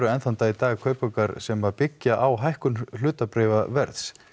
enn þann dag í dag kaupaukar sem byggja á hækkun hlutabréfaverðs